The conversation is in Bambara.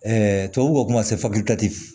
tubabuw b'a fɔ ko